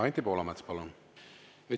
Anti Poolamets, palun!